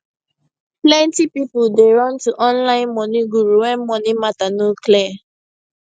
plenty people dey run to online money guru when money matter no clear